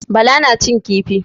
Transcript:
Bala na cin kifi.